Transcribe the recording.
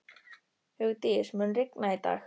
Hugdís, mun rigna í dag?